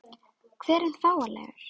Hver er fáanlegur?